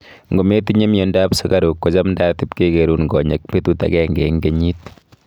Ngotitinye miondo ab sukaruuk kochamtaat ipkekerun konyek betut akenge eng kenyit